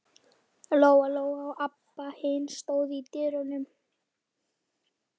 Lóa-Lóa og Abba hin stóðu í dyrunum.